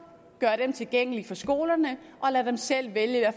gør dem tilgængelige for skolerne og lader dem selv vælge